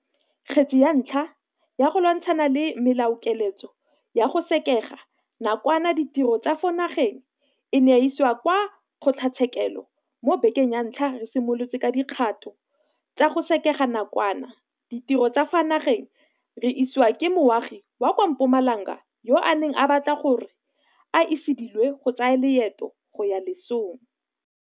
Kgetse ya ntlha ya go lwantshana le melaokiletso ya go sekega nakwana ditiro tsa ka fa nageng e ne ya isiwa kwa kgotlatshekelo mo bekeng ya ntlha re simolotse ka dikgato tsa go sekega nakwana ditiro tsa ka fa nageng re isiwa ke moagi wa kwa Mpumalanga yo a neng a batla gore a se ilediwe go tsaya leeto go ya lesong.